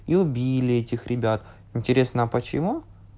и убили этих ребят интересно а почему